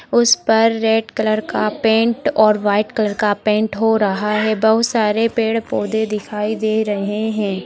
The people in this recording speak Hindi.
उसपर रेड कलर का पेंट और व्हाइट कलर का पेंट हो रहा है बहुत सारे पेड़ पौधे दिखाई दे रहे है।